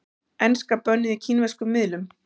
Enska bönnuð í kínverskum miðlum